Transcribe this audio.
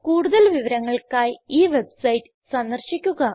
കൂടുതൽ വിവരങ്ങൾക്കായി ഈ വെബ്സൈറ്റ് സന്ദർശിക്കുക